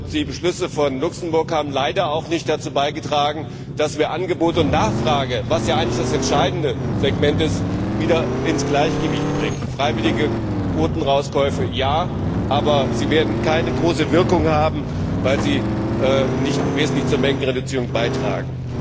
Die Beschlüsse von Luxemburg haben leider auch nicht dazu beigetragen, dass wir Angebot und Nachfrage was ja eigentlich das entscheidende Segment ist wieder ins Gleichgewicht bringen. Freiwillige Quotenrauskäufe ja, aber sie werden keine große Wirkung haben, weil sie nicht wesentlich zur Mengenreduzierung beitragen.